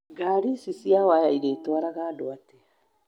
Ngari ici cia waya cirĩtwaraga andũ atĩa?